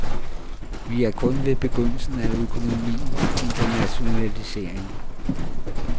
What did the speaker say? Vi er kun ved begyndelsen af økonomiens internationalisering.